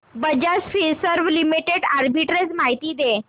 Bajaj Finserv limited arbitrage माहिती दे